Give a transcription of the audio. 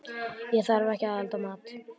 Ég þarf ekki að elda mat.